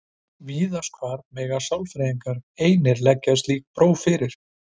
Víðast hvar mega sálfræðingar einir leggja slík próf fyrir.